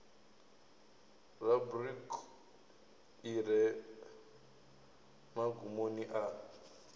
rubriki i re magumoni a